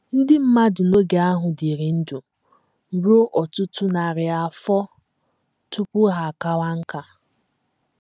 Ndị mmadụ n’oge ahụ dịrị ndụ ruo ọtụtụ narị afọ tupu ha akawa nká.